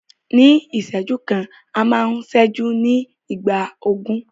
Ní ìṣẹ́jú kan, a máa ń ṣẹ́jú ní ìgbà ogún.